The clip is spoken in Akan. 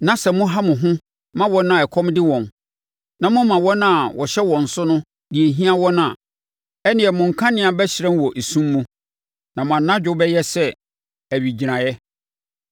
na sɛ moha mo ho ma wɔn a ɛkɔm de wɔn na moma wɔn a wɔhyɛ wɔn so no deɛ ɛhia wɔn a, ɛnneɛ mo nkanea bɛhyerɛn wɔ esum mu, na mo anadwo bɛyɛ sɛ owigyinaeɛ.